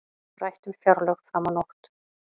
Rætt um fjárlög fram á nótt